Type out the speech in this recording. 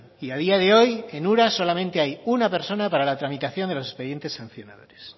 y a día de hoy en ura solamente hay una persona para la tramitación de los expedientes sancionadores